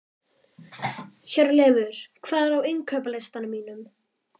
Hjörleifur, hvað er á innkaupalistanum mínum?